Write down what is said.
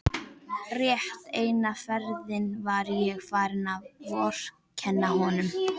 Rétt eina ferðina var ég farin að vorkenna honum.